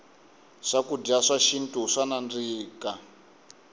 swakudya swa xintu swa nandzika